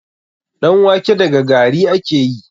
Ɗan wake daga gari ake yi.